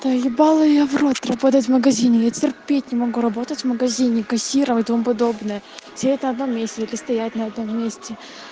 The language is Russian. да ебала я в рот работать в магазине я терпеть не могу работать в магазине кассиром и тому подобное все это в одном месте или стоять на одном месте